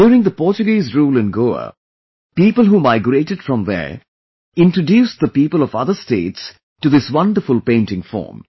During the Portuguese rule in Goa, the people who migrated from there introduced the people of other states to this wonderful painting form